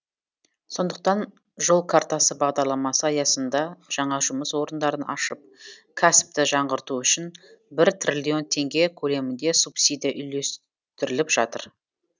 сондықтан жол картасы бағдарламасы аясында жаңа жұмыс орындарын ашып кәсіпті жаңғырту үшін бір триллион теңге көлемінде субсидия үлестіріліп жатыр